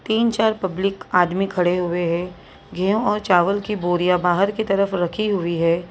तीन-चार पब्लिक आदमी खड़े हुए हैं गेहूं और चावल की बोरियां बाहर की तरफ रखी हुई है।